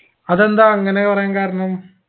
അതെന്താ അങ്ങനെ പറയാൻ കാരണം